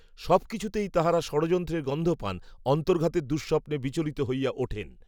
সব কিছুতেই তাঁহারা ষড়যন্ত্রের গন্ধ পান। অন্তর্ঘাতের দুঃস্বপ্নে বিচলিত হইয়া ওঠেন